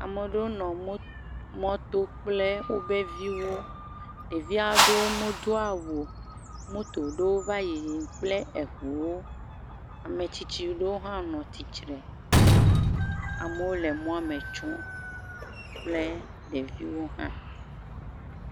Ame aɖewo nɔ mɔ..mɔto kple wobe viwo, ɖevi aɖewo medo awu o, moto ɖewo va le yiyim kple eŋuwo, ame tsitsiwo hã le tsitre kple ɖeviwo hã.